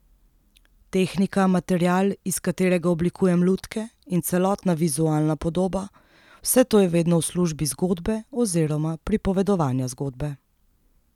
Tehnika, material, iz katerega oblikujem lutke, in celotna vizualna podoba, vse to je vedno v službi zgodbe oziroma pripovedovanja zgodbe.